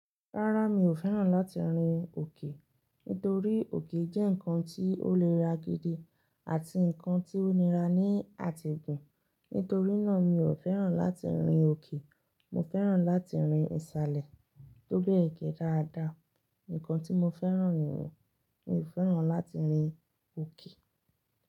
Rárá, mi ò fẹ́ràn láti rin òkè. Nítorí òkè jẹ́ ǹkan tí ó nira gidi àti ǹkan tí ó nira ní àti gùn. Nítorí náà, mi ò fẹ́ràn láti rin òkè. Mo fẹ́ràn láti rin ìsàlẹ̀ tobe ge dáadáa. Ǹkan tí mo fẹ́ràn nìyẹn. Mi ò fẹ́ràn láti rin òkè.